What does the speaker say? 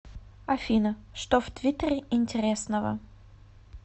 афина что в твиттере интересного